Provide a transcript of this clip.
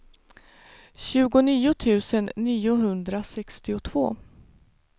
tjugonio tusen niohundrasextiotvå